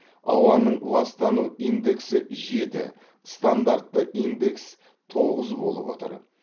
ауаның ластану индексі жеті стандартты индекс тоғыз болып отыр